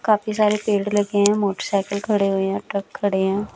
काफी सारे पेड़ लगे हैं मोटरसाइकिल खड़े हुए हैं ट्रक खड़े हैं।